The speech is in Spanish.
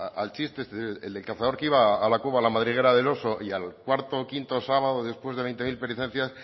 al chiste este del cazador que iba a la cueva a la madriguera del oso y al cuarto o quinto sábado después de veinte mil